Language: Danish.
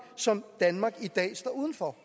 som danmark i dag står udenfor